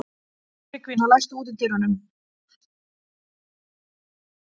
Tryggvína, læstu útidyrunum.